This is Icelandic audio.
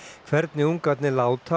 hvernig ungarnir láta